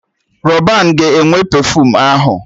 Rọban ga-enwe pefuum ahụ